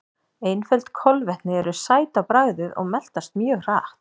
Einföld kolvetni eru sæt á bragðið og meltast mjög hratt.